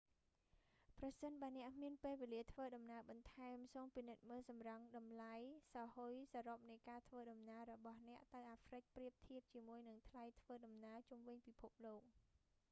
ប្រសិនបើអ្នកមានពេលវេលាធ្វើដំណើរបន្ថែម សូមពិនិត្យមើលសម្រង់តម្លៃសោហ៊ុយសរុបនៃការធ្វើដំណើររបស់អ្នកទៅអាហ្រ្វិកប្រៀបធៀបជាមួយនឹងថ្លៃធ្វើដំណើរជុំវិញពិភពលោក